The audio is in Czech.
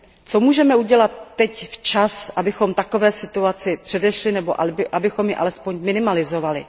Co můžeme udělat teď včas, abychom takové situaci předešli nebo abychom ji alespoň minimalizovali?